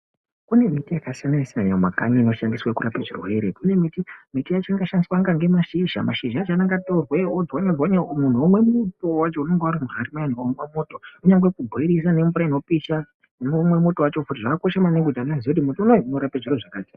Kunemiti yakasiyana siyana mumakanyi inoshandiswe kurape zvirwere, kune miti ,miti yacho inoshandiswa ngemashizha, mashizha acho anenge atorwe odzwanywa dzanywa munhu onwe muto wacho unenge urimuhari kana mupoto, kunyangwe kubhoilisa nemvura inopisha wonwe muto wacho, zvakakoshe maningi kuti anhu vazive kuti mutombo uyu unorape zviro zvakati.